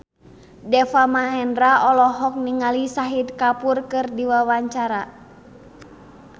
Deva Mahendra olohok ningali Shahid Kapoor keur diwawancara